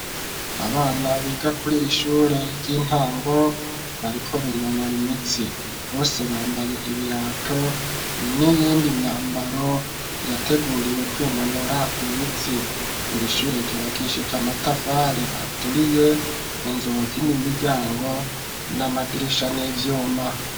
Abana biga kuri iri shure ry'intango, bariko binonora imitsi. Bose bambaye ibirato n'iyindi myambaro yateguriwe kwinonora imitsi. Iri shure ryubakishije amatafari aturiye, inzugi, n'imiryango n'amabirisha n'ivyuma.